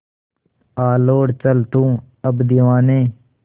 आ लौट चल तू अब दीवाने